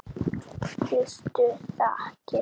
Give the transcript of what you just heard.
Fyllstu þakkir.